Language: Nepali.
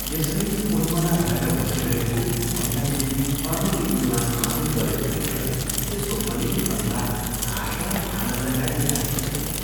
यसरी उन्मना भएर बसिरहेको, मैनादेवी अनतिदूरमा आउँदै गरेको देखेर त्यसको मलिन अनुहारमा आशा र आनन्दका रेखा देखिन्थे।